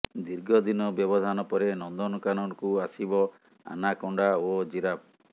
ଦୀର୍ଘଦିନ ବ୍ୟବଧାନ ପରେ ନନ୍ଦନକାନନକୁ ଆସିବ ଆନାକୋଣ୍ଡା ଓ ଜିରାଫ